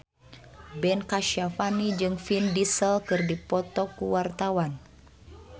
Ben Kasyafani jeung Vin Diesel keur dipoto ku wartawan